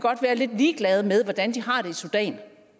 være lidt ligeglade med hvordan de har det i sudan